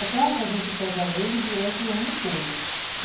É claro que a gente pega ele durante o ano todo.